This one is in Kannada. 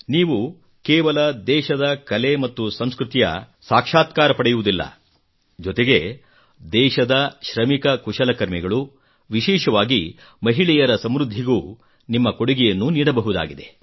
ನೀವು ಕೇವಲ ದೇಶದ ಕಲೆ ಮತ್ತು ಸಂಸ್ಕೃತಿಯ ಸಾಕ್ಷಾತ್ಕಾರ ಪಡೆಯುವುದಿಲ್ಲ ಜೊತೆಗೆ ದೇಶದ ಶ್ರಮಿಕ ಕುಶಲಕರ್ಮಿಗಳು ವಿಶೇಷವಾಗಿ ಮಹಿಳೆಯರ ಸಮೃದ್ಧಿಗೂ ನಿಮ್ಮ ಕೊಡುಗೆಯನ್ನು ನೀಡಬಹುದಾಗಿದೆ